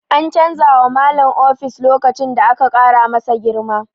An canza wa Malam ofis lokacin da aka ƙara masa girma.